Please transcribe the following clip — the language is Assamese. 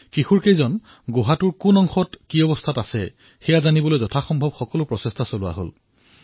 লৰা কেইজন কত আছিল কেনেদৰে আছিল সেয়া গম পোৱাৰ বাবে বিভিন্ন কাৰ্য সম্পন্ন কৰা হৈছিল